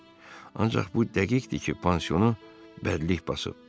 Ancaq bu dəqiqdir ki, pansionu bədlik basıb.